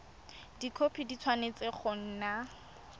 dikhopi di tshwanetse go nna